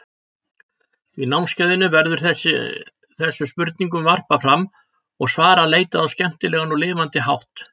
Í námskeiðinu verður þessu spurningum varpað fram og svara leitað á skemmtilegan og lifandi hátt.